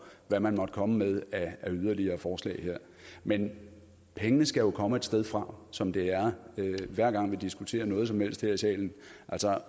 hvad man må komme med af yderligere forslag her men pengene skal jo komme et sted fra som det er hver gang vi diskuterer noget som helst her i salen